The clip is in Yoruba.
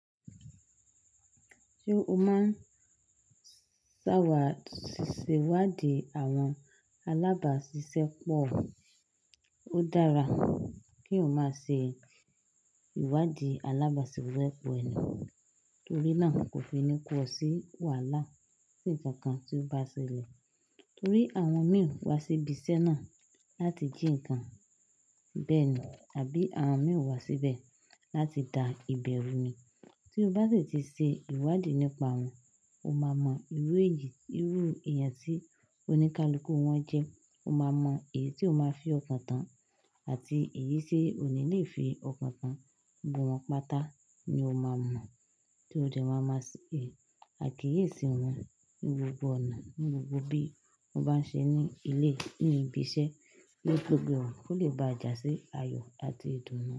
Ṣé o máa ń ṣàwà sí ìwádìí àwọn alábàáṣiṣẹ́ pọ̀? Ó dára kí eeyan má ṣe ìwádìí alábàáṣiṣẹ́ pọ̀ ẹni, torí náà kò fi ní kò ọ sí wàhálà tí ǹkan kan ti o bá ṣẹlẹ̀. Torí àwọn mìí wá sí ibi iṣẹ́ náà láti jí ǹkan, bẹ́ẹ̀ ni àbí àwọn mìí wá síbẹ̀ láti da ìbẹ̀rù ni. Tí o bá sì ti ṣe ìwádìí nípa wọn, o máa mọ irú èyí, irú ẹ̀eyàn tí oníkálukú wọn jẹ́, o máa mọ èyí tí o máa fi ọkàn tán àti èyí tí ò ní lè fi ọkàn tán. Gbogbọ won pátá ni o máa mọ̀, tí o de ma máa se àkíyèsí wọn ní gbogbo ọ̀nà, ní gbogbo bí wọ́n bá ń ṣe ní ilé, ní ibi iṣẹ́, ki gbogbé e, kò lè bá jà sí ayọ̀ àti ìdùnnú.